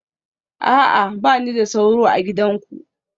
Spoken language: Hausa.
A'a, ba ni da sauro a gidanku